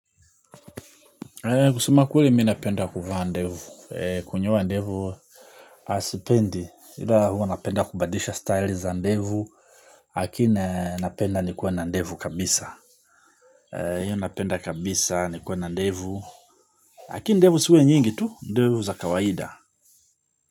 Kusema kweli mimi napenda kuvaa ndevu, kunyoa ndevu sipendi, ila hua napenda kubadilisha style za ndevu. Lakini napenda nikuwa na ndevu kabisa. Hiyo napenda kabisa, nikuwa na ndevu. Lakini ndevu ziwe nyingi tu, ndevu za kawaida.